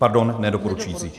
Pardon, nedoporučující.